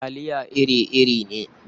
Talia iri-iri ne.